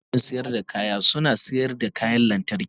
wasu kantin sayar da kaya suna sayar da kayan lantarki.